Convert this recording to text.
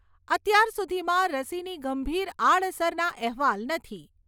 અત્યાર સુધીમાં રસીની ગંભીર આડઅસરના અહેવાલ નથી.